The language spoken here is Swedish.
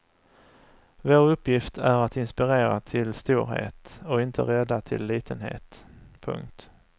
Vår uppgift är att inspirera till storhet och inte rädda till litenhet. punkt